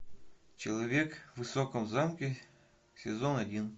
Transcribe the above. человек в высоком замке сезон один